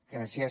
gràcies